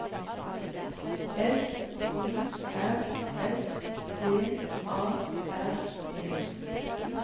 F O R S V A R E